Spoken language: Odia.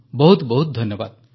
ବହୁତ ବହୁତ ଧନ୍ୟବାଦ